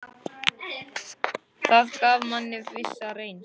Það gaf manni vissa reisn.